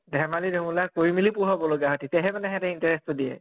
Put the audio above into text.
ধেমালি ধুমুলা কৰি মেলি পঢ়োৱাব লাগে, তেতিয়াহে হিহঁতে interest তো দিয়ে